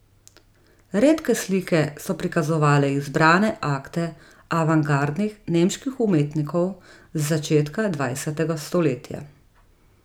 Redke slike so prikazovale izbrane akte avantgardnih nemških umetnikov z začetka dvajsetega stoletja.